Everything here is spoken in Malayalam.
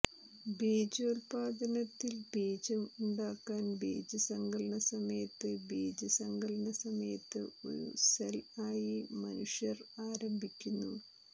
ബീജോത്പാദനത്തിൽ ബീജം ഉണ്ടാക്കാൻ ബീജസങ്കലനസമയത്ത് ബീജസങ്കലനസമയത്ത് ഒരു സെൽ ആയി മനുഷ്യർ ആരംഭിക്കുന്നു